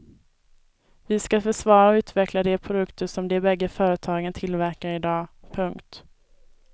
Vi ska försvara och utveckla de produkter som de bägge företagen tillverkar i dag. punkt